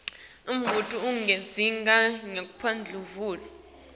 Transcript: umbuto udzinga timphendvulo